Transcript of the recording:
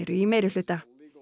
í meirihluta